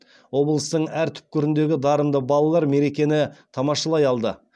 облыстың әр түкпіріндегі дарынды балалар мерекені тамашалай алды